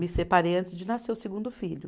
Me separei antes de nascer o segundo filho.